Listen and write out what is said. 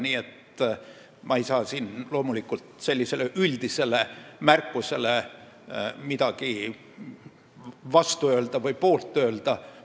Nii et ma ei saa siin loomulikult midagi sellise üldise märkuse vastu või poolt öelda.